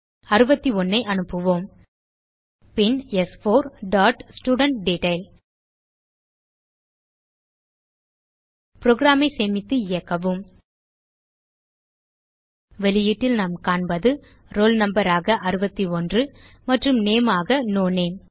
61 ஐ அனுப்புவோம் பின் ஸ்4 டாட் ஸ்டூடன்ட்டெட்டைல் புரோகிராம் ஐ சேமித்து இயக்கவும் வெளியீட்டில் நாம் காண்பது ரோல் நம்பர் ஆக 61 மற்றும் நேம் ஆக நோ நேம்